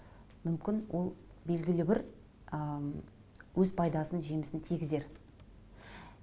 мүмкін ол белгілі бір ыыы өз пайдасын жемісін тигізер